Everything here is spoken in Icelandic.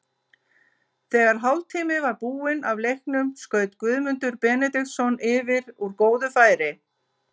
Þegar hálftími var búinn af leiknum skaut Guðmundur Benediktsson yfir úr góðu færi.